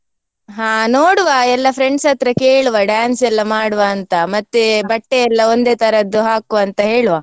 ಹಾ ನೋಡುವ ಎಲ್ಲಾ friends ಹತ್ರ ಕೇಳುವ dance ಎಲ್ಲಾ ಮಾಡುವ ಅಂತ ಮತ್ತೆ ಬಟ್ಟೆಯೆಲ್ಲ ಒಂದೇ ತರದ್ದು ಹಾಕುವ ಅಂತ ಹೇಳುವ.